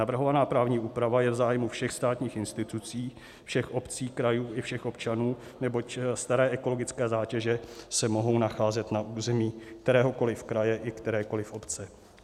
Navrhovaná právní úprava je v zájmu všech státních institucí, všech obcí, krajů i všech občanů, neboť staré ekologické zátěže se mohou nacházet na území kteréhokoliv kraje i kterékoliv obce.